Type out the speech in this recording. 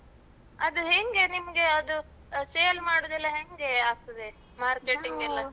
ಅದು ಹೆಂಗೆ ನಿಮ್ಗೆ ಅದು sale ಮಾಡುದೆಲ್ಲ ಹೆಂಗೆ ಆಗ್ತದೆ? marketing ಎಲ್ಲ.